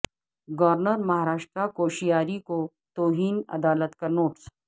governor Maharashtra Koshyari کو توہین عدالت کا نوٹس